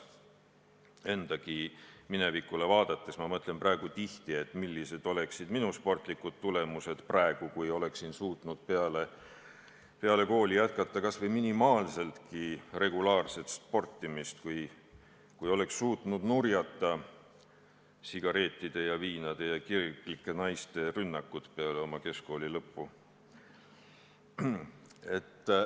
Endagi minevikule vaadates mõtlen ma praegu tihti, millised oleksid minu sportlikud tulemused praegu, kui oleksin suutnud peale kooli jätkata kas või minimaalseltki regulaarset sportimist ja nurjata sigarettide, viina ja kirglike naiste rünnakud peale oma keskkooli lõppu.